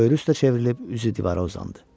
Böyrü üstə çevrilib, üzü divara uzandı.